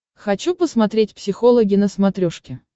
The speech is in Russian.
хочу посмотреть психологи на смотрешке